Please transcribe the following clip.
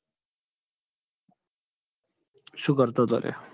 શું કરતો હતો લ્યા?